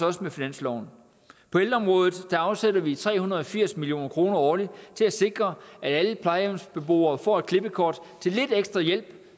også med finansloven på ældreområdet afsætter vi tre hundrede og firs million kroner årligt til at sikre at alle plejehjemsbeboere får et klippekort til lidt ekstra hjælp